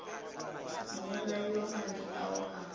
mmolai wa madi ao a